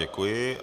Děkuji.